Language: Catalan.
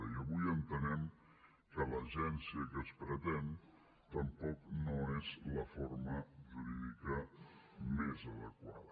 i avui entenem que l’agència que es pretén tampoc no és la forma jurídica més adequada